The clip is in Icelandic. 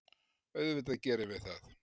Auðvitað gerum við það.